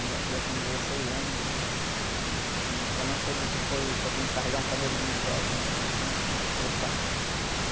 A minha filha tem dezesseis anos e ainda não soube o que foi, por exemplo, carregar um paneiro de mandioca, coisa assim, para se preocupar.